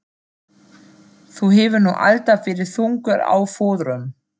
Þú hefur nú alltaf verið þungur á fóðrum.